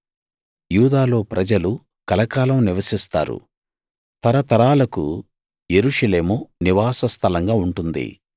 యూదాలో ప్రజలు కలకాలం నివసిస్తారు తరతరాలకు యెరూషలేము నివాస స్థలంగా ఉంటుంది